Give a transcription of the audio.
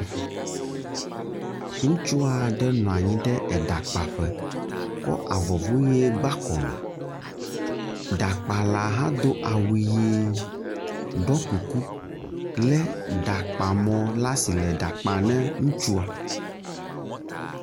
Ŋutsu aɖe nɔ anyi ɖe eɖakpaƒe kɔ avɔvuʋi gba kɔme. Ɖakpala hã do awu ʋi, ɖɔ kuku le ɖakpamɔ le asi le ɖa kpam ne ŋutsua.